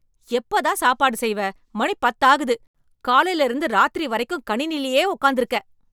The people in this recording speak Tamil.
எப்போ தான் சாப்பாடு செய்வ மணி பத்து ஆகுது, காலல இருந்து இராத்திரி வரைக்கும் கணிணிலே உக்காந்திருக்க